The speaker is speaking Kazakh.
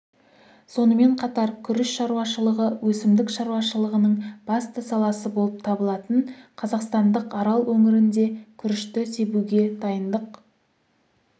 сонымен қатар күріш шаруашылығы өсімдік шаруашылығының басты саласы болып табылатын қазақстандық арал өңірінде күрішті себуге дайындық